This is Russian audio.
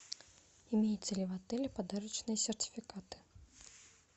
имеются ли в отеле подарочные сертификаты